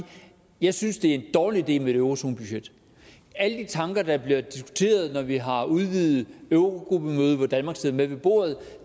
jeg synes det er en dårlig idé med et eurozonebudget alle de tanker der bliver diskuteret når vi har udvidet eurogruppemøde hvor danmark sidder med ved bordet